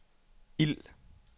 ild